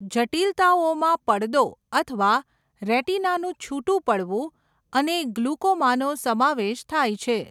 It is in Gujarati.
જટિલતાઓમાં પડદો અથવા રેટિનાનું છુટું પડવું અને ગ્લુકોમાનો સમાવેશ થાય છે.